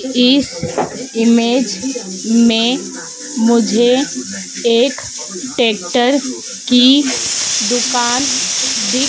इस इमेज में मुझे एक ट्रैक्टर की दुकान दि--